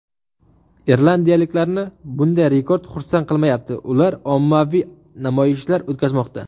Irlandiyaliklarni bunday rekord xursand qilmayapti, ular ommaviy namoyishlar o‘tkazmoqda.